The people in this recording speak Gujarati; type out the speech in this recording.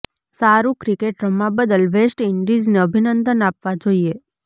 સારું ક્રિકેટ રમવા બદલ વેસ્ટ ઈન્ડિઝને અભિનંદન આપવા જોઈએ